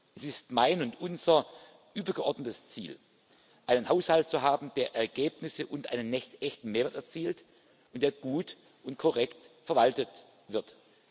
Es ist mein und unser übergeordnetes Ziel, einen Haushalt zu haben, der Ergebnisse und einen echten Mehrwert erzielt und der gut und korrekt verwaltet wird.